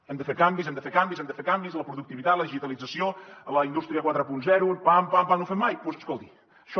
hem de fer canvis hem de fer canvis hem de fer canvis en la productivitat la digitalització la indústria quaranta pam pam no ho fem mai escolti això